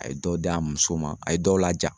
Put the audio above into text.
A ye dɔw d'a muso ma a ye dɔw laja